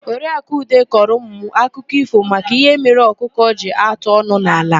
Oriakụ Ude kọrọ ụmụ m akụkọ ífò maka ihe mere ọkụkọ ji atụ ọnụ n'ala.